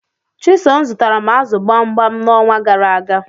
Chisom zutara m azu gbamgbam nxonwa garaaga